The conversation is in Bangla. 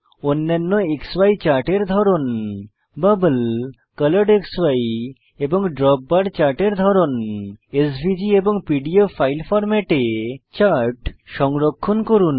অন্যান্য ক্সি চার্টের ধরন বাবল কলরেডক্সি এবং দ্রোপবার চার্টের ধরন এবং এসভিজি এবং পিডিএফ ফাইল ফরম্যাটে চার্ট সংরক্ষণ করুন